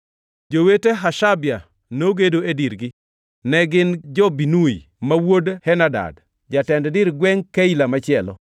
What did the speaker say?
Jowete Hashabia nogedo e dirgi, ne gin jo-Binnui ma wuod Henadad, jatend dir gwengʼ Keila machielo.